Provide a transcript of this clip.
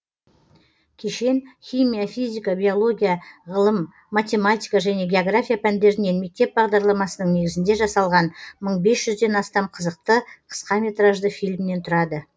кешен химия физика биология ғылым математика және география пәндерінен мектеп бағдарламасының негізінде жасалған мың бес жүзден астам қызықты қысқа метражды фильмнен тұрады